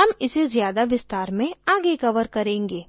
हम इसे ज़्यादा विस्तार में आगे cover करेंगे